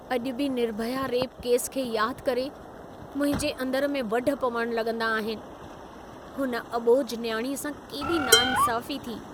अॼु बि Nirbhaya rape case खे यादि करे मुंहिंजे अंदरु में वढु पवणु लगं॒दा आहिनि। हुन अॿोझ नियाणीअ सां केॾी नाइंसाफी थी।